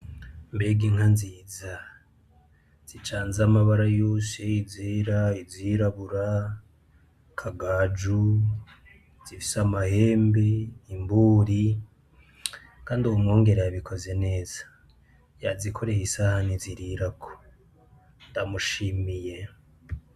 Mbega inka nziza zicanze amabara yose izera, izirabura ,izakagaju, iz’ifise amahembe , imburi kandi uwo mwungere yabikoze neza yazikoreye isahani zirirako ndamushimiye.